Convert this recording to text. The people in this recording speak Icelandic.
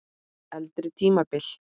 Eldri tímabil